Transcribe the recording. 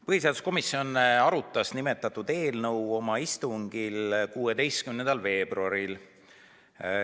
Põhiseaduskomisjon arutas seda eelnõu oma 16. veebruari istungil.